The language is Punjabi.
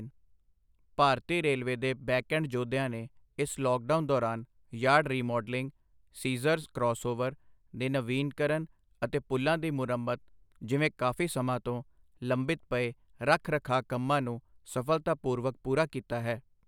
ਭਾਰਤੀ ਰੇਲਵੇ ਦੇ ਬੈਕਐਂਡ ਜੋਧਿਆਂ ਨੇ ਇਸ ਲੌਕਡਾਊਨ ਦੌਰਾਨ ਯਾਰਡ ਰਿਮਾਡਲਿੰਗ, ਸੀਜਰਸ ਕਰੌਸਓਵਰ ਦੇ ਨਵੀਕਰਨ ਅਤੇ ਪੁਲ਼ਾਂ ਦੀ ਮਰੰਮਤ ਜਿਵੇਂ ਕਾਫ਼ੀ ਸਮਾਂ ਤੋਂ ਲੰਬਿਤ ਪਏ ਰਖ ਰਖਾਅ ਕੰਮਾਂ ਨੂੰ ਸਫਲਤਾਪੂਰਵਕ ਪੂਰਾ ਕੀਤਾ ਹੈ।